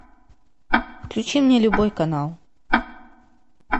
включи мне любой канал